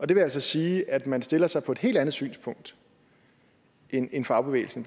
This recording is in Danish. det vil altså sige at man stiller sig på et helt andet synspunkt end end fagbevægelsen